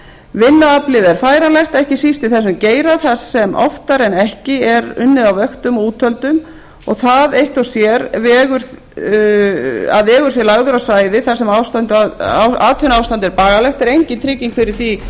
vinnuaflið er færanlegt ekki síst í þessum geira þar sem oftar en ekki er unnið á vöktum og úthöldum og það eitt og sér að vegur sé lagður á svæðið þar sem atvinnuástand er bagalegt er engin trygging fyrir því